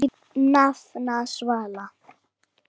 Þín nafna, Svala.